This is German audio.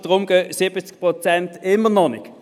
Deswegen gehen 70 Prozent immer noch nicht.